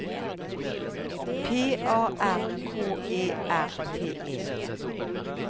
P A R K E R T E